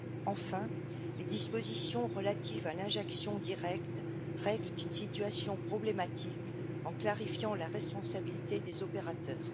Enfin, les dispositions relatives à l'injection directe règlent une situation problématique en clarifiant la responsabilité des opérateurs.